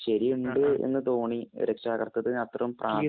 ശരിയുണ്ട് എന്ന് തോണി. രക്ഷാകര്‍ത്ത്വത്തിനു അത്ര പ്രാധാന്യം